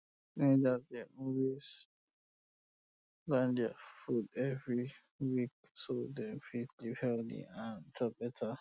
teenagers dey always plan their food every every week so dem fit live healthy and um chop better um